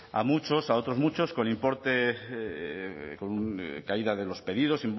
a muchos a otros muchos con importe con caída de los pedidos